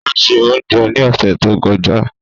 O ṣé oúnjẹ ní ọ̀sẹ̀ tó kọjá.